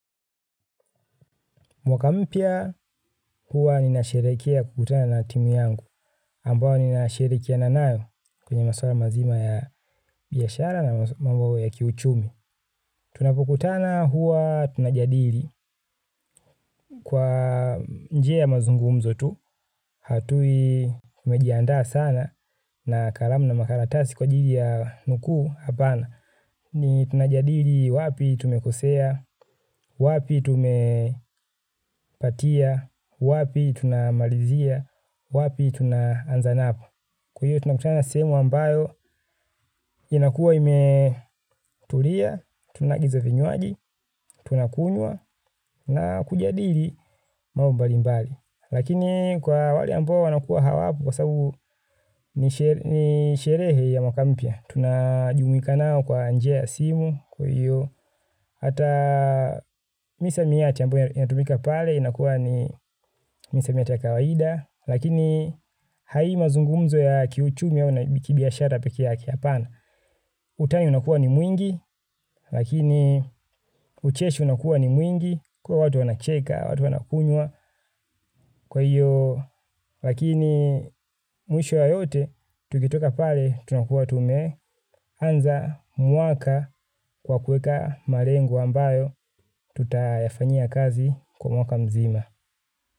Mwaka mpya huwa nina sherehekea kukutana na timu yangu, ambayo ninashirikiana nayo kwenye maswala mazima ya biashara na mambo ya kiuchumi. Tunapokutana huwa tunajadili kwa njia ya mazungumzo tu, hatui mejiandaa sana na kalamu na makaratasi kwa ajili ya nuku hapana. Ni tunajadili wapi tumekosea, wapi tumepatia, wapi tunamalizia, wapi tunaanza napo. Kwa hiyo tunakutana sehemu ambayo inakua imetulia, tunaagiza vinywaaji, tunakunywa na kujadili mambo mbalimbali. Lakini kwa wale ambayo wanakua hawapo kwa sababu ni sherehe ya mwaka mpya. Tunajumuika nao kwa njia ya simu kwa hiyo. Hata misamiati ambayo inatumika pale inakuwa ni misamiati ya kawaida. Lakini haimazungumzo ya kiuchumi au na kibiashara peke yake hapana. Utani unakuwa ni mwingi lakini ucheshi unakuwa ni mwingi. Kwa watu wanacheka, watu wanakunyua kwa hiyo. Lakini mwisho ya yote tukitoka pale tunakuwa tume anza mwaka kwa kuweka malengo ambayo tutayafanyia kazi kwa mwaka mzima.